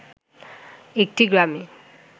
একটি গ্রামে